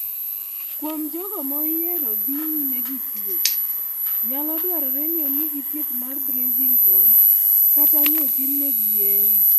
Kuom jogo moyiero dhi nyime gi thieth, nyalo dwarore ni omigi thieth mar bracing kod/kata ni otimnegi yeng'o.